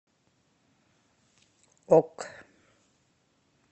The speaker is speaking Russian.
ок